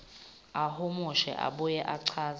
ahumushe abuye achaze